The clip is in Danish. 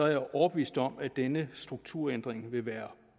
jeg overbevist om at denne strukturændring vil være